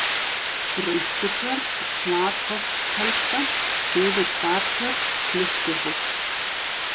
Rönkutjörn, Flatholtskelda, Suður-Startjörn, Klukkuhóll